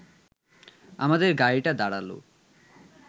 আমাদের গাড়িটা দাঁড়াল